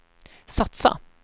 satsa